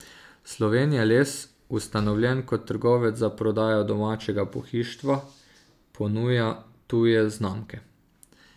Slovenijales, ustanovljen kot trgovec za prodajo domačega pohištva, ponuja tuje znamke.